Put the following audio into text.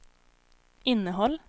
innehåll